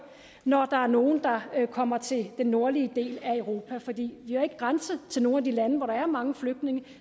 når der er nogle der kommer til den nordlige del af europa for vi har ikke grænser til nogen af de lande hvor der er mange flygtninge